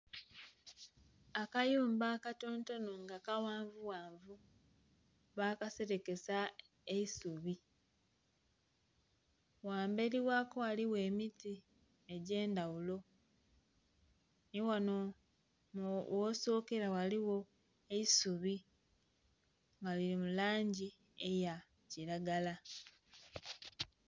Akayumba akatontono nga kawanvu wanvu bakaserekesa eisubi wamberi wako ghaligho emiti egyendhaghulo niwano wosokera ghaligho eisubi nga liri mulangi eyakiragala.